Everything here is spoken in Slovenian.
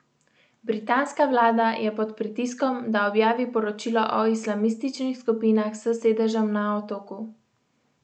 Britanska vlada je pod pritiskom, da objavi poročilo o islamističnih skupinah s sedežem na Otoku.